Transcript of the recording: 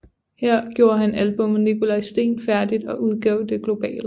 Her gjorde han albummet Nikolaj Steen færdigt og udgav det globalt